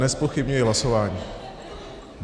Nezpochybňuji hlasování.